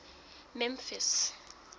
memphis